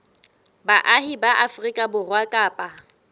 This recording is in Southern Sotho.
baahi ba afrika borwa kapa